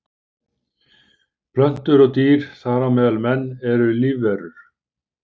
Plöntur og dýr, þar á meðal menn, eru lífverur.